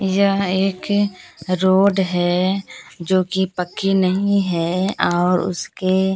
यह एक रोड है जो की पक्की नहीं है और उसके--